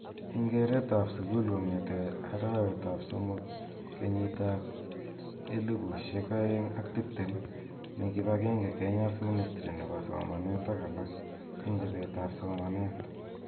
Eng keret ab sukul kong'ete arawet ab somok 2020,mi kipagenge Kenya's Ministry nebo somanet ak alak eng chobet ab somanet eng